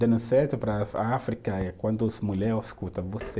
Dando certo para a África, é quando as mulher escuta você,